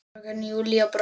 Fröken Júlía brosti.